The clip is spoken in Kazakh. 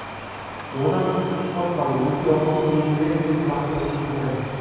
одан тыс спорт залы өзге оңалту бөлмелері де тұрақты жұмыс жасайды